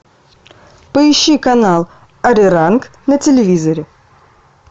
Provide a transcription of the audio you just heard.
поищи канал ариранг на телевизоре